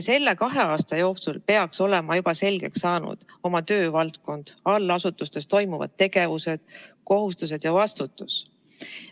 Selle kahe aasta jooksul peaks olema juba selgeks saanud oma töövaldkond, allasutustes toimuv ning kohustused ja vastutus.